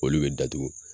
Olu bɛ datugu